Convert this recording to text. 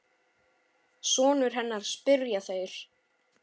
Sonur hennar? spyrja þeir.